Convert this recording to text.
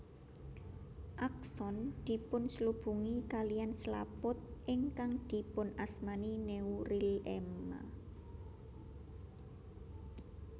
Akson dipunslubungi kaliyan slaput ingkang dipunasmani neurilema